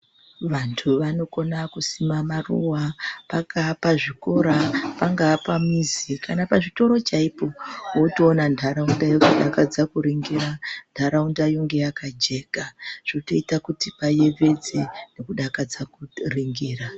Vantu vanokona kusima maruwa pangaa pazvikora, pangaa pamizi kana pazvitoro chaipo wotoona nharaunda yotodakadza kuringira, nharaunda yonge yakajeka zvotoita kuti payevedze nekudakadza kuringira.